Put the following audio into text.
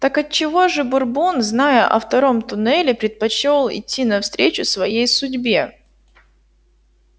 так отчего же бурбон зная о втором туннеле предпочёл идти навстречу своей судьбе